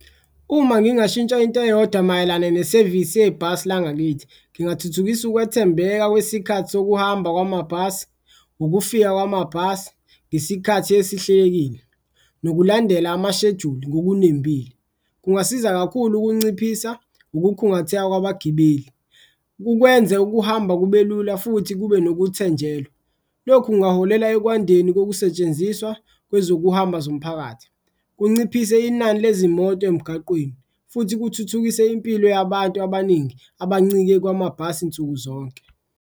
Uma ngingashintsha into eyodwa mayelana yesevisi yebhasi langakithi, ngingathuthukisa ukwethembeka kwesikhathi sokuhamba kwamabhasi, ukufika kwamabhasi ngesikhathi esihlelekile nokulandela amashejuli ngokunembile. Kungasiza kakhulu ukunciphisa ukukhungatheka kwabagibeli, kukwenze ukuhamba kube lula futhi kube nokuthenjelwa, lokhu kungaholela ekwandeni kokusetshenziswa kwezokuhamba zomphakathi. Kunciphise inani lezimoto emgaqweni futhi kuthuthukise impilo yabantu abaningi abancike kwamabhasi nsuku zonke.